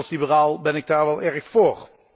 Als liberaal ben ik daar wel erg voor.